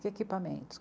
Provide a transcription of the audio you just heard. Que equipamentos?